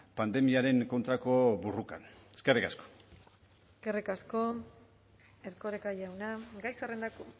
pandemiaren kontrako borrokan eskerrik asko eskerrik asko erkoreka jauna gai zerrendako